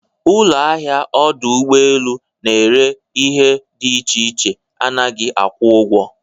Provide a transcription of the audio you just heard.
Ụlọ ahịa ọdụ ụgbọ elu na-ere ihe dị iche iche anaghị akwụ ụgwọ.